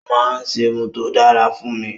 O máa ń ṣerun tó dára fún mi